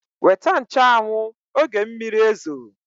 Weta nche anwụ, oge mmiri ezo!